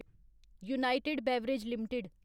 United Breweries limited